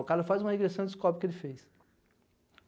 O cara faz uma regressão e descobre o que ele fez.